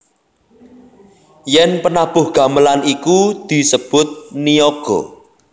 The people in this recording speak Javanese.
Yen penabuh gamelan iku disebut niyaga